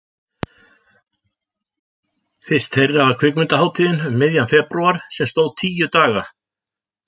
Fyrst þeirra var Kvikmyndahátíðin um miðjan febrúar sem stóð tíu daga.